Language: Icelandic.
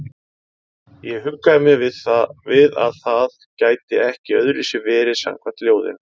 Ég huggaði mig við að það gæti ekki öðruvísi verið samkvæmt ljóðinu.